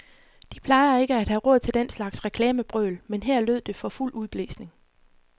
De plejer ikke at have råd til den slags reklamebrøl, men her lød det for fuld udblæsning.